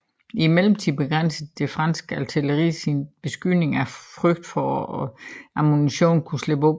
I mellemtiden begrænsede det franske artilleri sin beskydning af frygt for at ammunitionen skulle slippe op